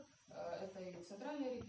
центральный